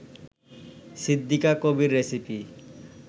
Siddika Kabir recipe